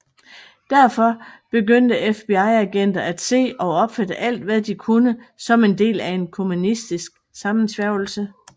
Derfor begyndte FBI agenter at se og opfatte alt hvad de kunne som del af en kommunistisk sammensværgelse